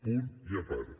punt i a part